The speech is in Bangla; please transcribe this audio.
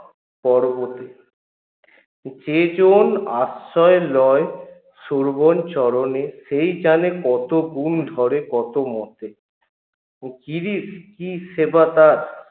পর্বতে যেজন আশ্রয় লয় শোভন চরণে সেই জানে কত গুন ধরে কত কী সেবা তার